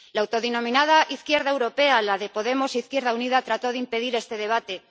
La autodenominada izquierda europea, la de Podemos e Izquierda Unida, trató de impedir este debate.